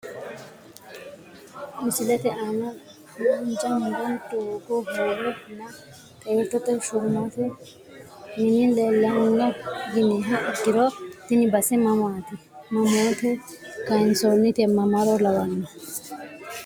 Misilete aana haanja muro doogo hoowe nna xeertote shumate mini leelano yiniha ikiro tini base mamaati mamote kayinsonite mamaro lawano.